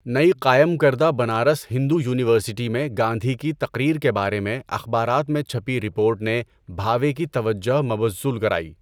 نئی قائم کردہ بنارس ہندو یونیورسٹی میں گاندھی کی تقریر کے بارے میں اخبارات میں چھپی رپورٹ نے بھاوے کی توجہ مبذول کرائی۔